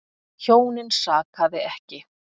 Hjónin sakaði ekki.